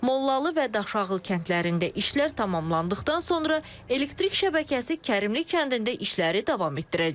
Mollalı və Daşağıl kəndlərində işlər tamamlandıqdan sonra elektrik şəbəkəsi Kərimli kəndində işləri davam etdirəcək.